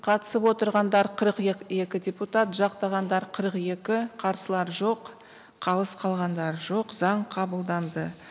қатысып отырғандар қырық екі депутат жақтағандар қырық екі қарсылар жоқ қалыс қалғандар жоқ заң қабылданды